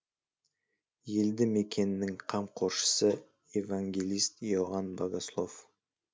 елді мекеннің қамқоршысы евангелист иоанн богослов